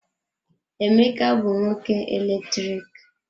Emeka bụ nwoke eletriki.